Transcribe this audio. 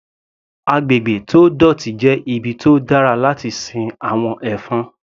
Agbègbè tó dọ̀tí jẹ́ ibi tó dára láti sin àwọn ẹ̀fọn.